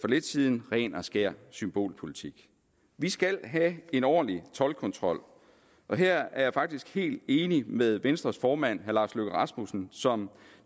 lidt siden ren og skær symbolpolitik vi skal have en ordentlig toldkontrol og her er jeg faktisk helt enig med venstres formand herre lars løkke rasmussen som